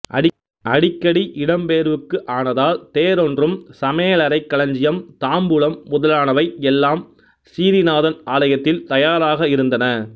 அடிக்கடி இடம்பெயர்வுக்கு ஆனதால் தேரொன்றும் சமையலறை களஞ்சியம் தாம்பூலம் முதலானவை எல்லாம் சிறீநாதன் ஆலயத்தில் தயாராக இருந்தன